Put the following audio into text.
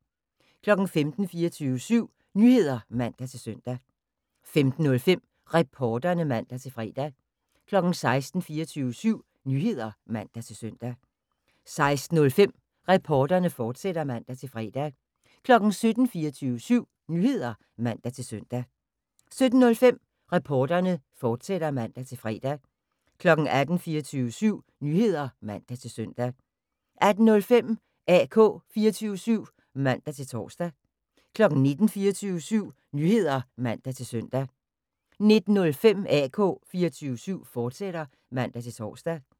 15:00: 24syv Nyheder (man-søn) 15:05: Reporterne (man-fre) 16:00: 24syv Nyheder (man-søn) 16:05: Reporterne, fortsat (man-fre) 17:00: 24syv Nyheder (man-søn) 17:05: Reporterne, fortsat (man-fre) 18:00: 24syv Nyheder (man-søn) 18:05: AK 24syv (man-tor) 19:00: 24syv Nyheder (man-søn) 19:05: AK 24syv, fortsat (man-tor)